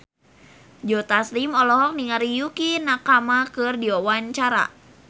Joe Taslim olohok ningali Yukie Nakama keur diwawancara